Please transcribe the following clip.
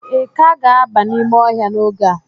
ị ka ga-aba n'ime ọhịa n'oge a?